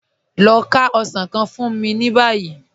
Lọ fá osàn kàn fún mí ní báyì.